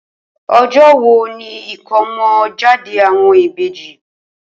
O̩jó̩ wo ni ìkómo̩jáde àwo̩n ìbejì?